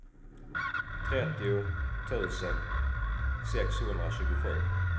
trettio tusen sexhundratjugosju